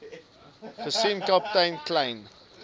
gesien kaptein kleyn